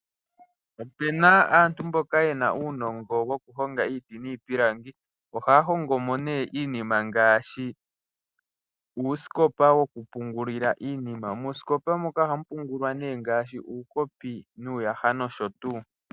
Opu na aantu mboka ye na uunongo wokuhonga iiti niipilangi, ohaya hongo mo ne iinima ngaashi uusikopa wokupungula iinima. Moosikopa moka ohamu pungulwa iinima ngaashi uukopi nuuyaha nosho tu.